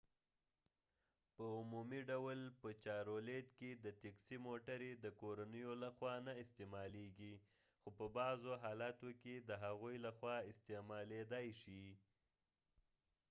په عمومي ډول په چارولیت کې د تیکسي موټرې د کورنیو لخوا نه استعمالیږي خو په بعضوحالاتو کې د هغوی لخوا استعمالیدای شي